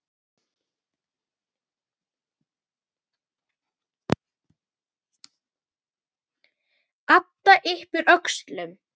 Adam yppir öxlum.